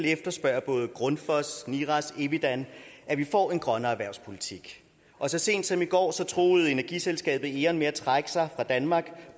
efterspørger både grundfos niras og envidan at vi får en grønnere erhvervspolitik og så sent som i går truede energiselskabet eon med at trække sig fra danmark